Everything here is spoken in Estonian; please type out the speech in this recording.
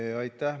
Aitäh!